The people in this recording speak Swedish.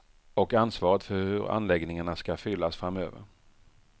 Och ansvaret för hur anläggningarna ska fyllas framöver.